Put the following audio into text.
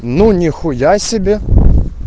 ну нихуя себе